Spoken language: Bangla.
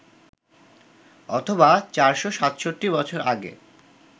অথবা ৪৬৭ বছর আগে